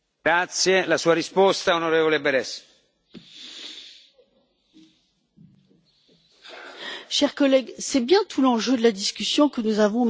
Cher collègue, c'est bien tout l'enjeu de la discussion que nous avons maintenant depuis des mois et, à tout le moins, depuis que la Commission a mis sur la table les nouveaux résultats de la Grèce.